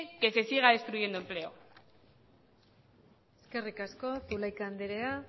que se siga destruyendo empleo eskerrik asko zulaika andrea